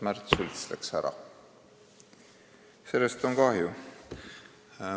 Märts Sults läks saalist ära ja sellest on kahju.